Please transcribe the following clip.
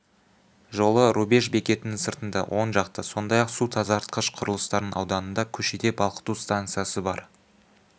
жолы рубеж бекетінің сыртында оң жақта сондай-ақ су тазартқыш құрылыстарының ауданында көшеде балқыту станциясы бар